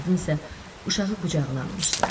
Qadın isə uşağı qucağına almışdı.